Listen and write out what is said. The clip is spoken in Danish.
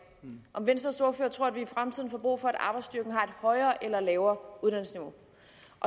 om venstres ordfører tror at vi i fremtiden får brug for at arbejdsstyrken har et højere eller lavere uddannelsesniveau